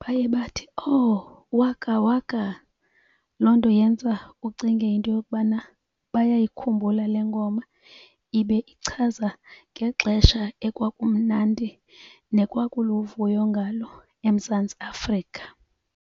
baye bathi, owu Waka Waka. Loo nto yenza uba ucinge into yokubana bayayikhumbula le ngoma ibe ichaza ngexesha ekwakumnandi nekwakuluvuyo ngalo eMzantsi Afrika.